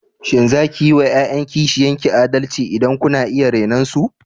Shin za ku yi wa ’ya’yan kishiyan ki adalci idan kuna iya renon su?